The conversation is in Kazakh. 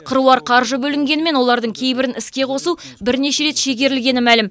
қыруар қаржы бөлінгенімен олардың кейбірін іске қосу бірнеше рет шегерілгені мәлім